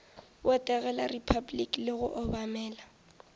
botegela repabliki le go obamela